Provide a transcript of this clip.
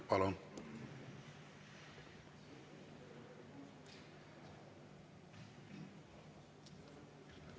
Palun!